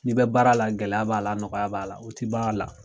N'i bɛ baara la, gɛlɛya b'a la, nɔgɔya b'a la, o ti ban a la.